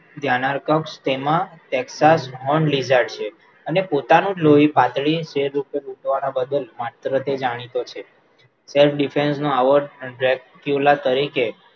ત્યાં નાં Texas horned lizard છે અને પોતાનું જ લોહી પાતળી છેદ ઉપર બદલ જાણીતો છે self defense નો આવો દ્રેકયુલા તરીકે